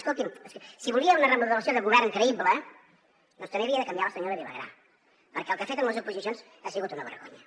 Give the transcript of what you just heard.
escolti’m si volia una remodelació de govern creïble doncs també havia de canviar la senyora vilagrà perquè el que ha fet amb les oposicions ha sigut una vergonya